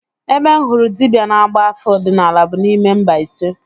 Ebe m hụrụ dibịa na-agba afa ọdịnala bụ n'ime Mbaise